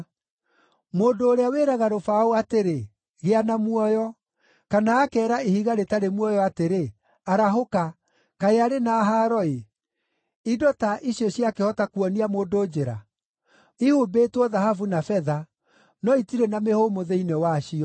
Mũndũ ũrĩa wĩraga rũbaũ atĩrĩ, ‘Gĩa na muoyo!’ Kana akeera ihiga rĩtarĩ muoyo atĩrĩ, ‘Arahũka!’ Kaĩ arĩ na haaro-ĩ! Indo ta icio ciakĩhota kuonia mũndũ njĩra? Ihumbĩtwo thahabu na betha; no itirĩ na mĩhũmũ thĩinĩ wacio.